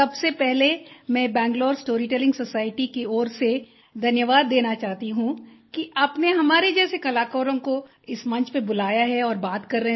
सबसे पहले मैं बैंगलूर स्टोरी टेलिंग सोसाइटी की ओर से धन्यवाद देना चाहती हूँ कि आपने हमारे जैसे कलाकारों को इस मंच पर बुलाया है और बात कर रहे हैं